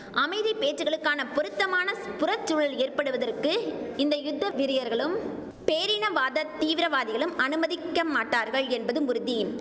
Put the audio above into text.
அமைதி பேச்சுக்களுக்கான பொருத்தமான புறச்சூழல் ஏற்படுவதற்கு இந்த யுத்த வெறியர்களும் பேரினவாத தீவிரவாதிகளும் அனுமதிக்க மாட்டார்கள் என்பதும் உறுதி